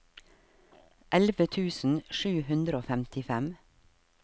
elleve tusen sju hundre og femtifem